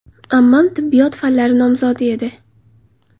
Ammam tibbiyot fanlari nomzodi edi.